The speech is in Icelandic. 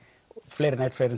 fleiri en einn